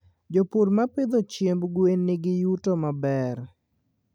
Japur mapidho chiemb gwen nigi yuto maber